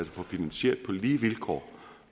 få finansieret på lige vilkår